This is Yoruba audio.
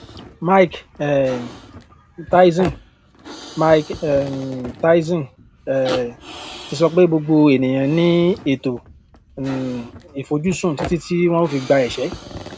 mike um tyson mike um tyson um ti sọ pé gbogbo ènìyàn ní ètò um ìfojúsùn títí wọn ó fi gba ìṣẹ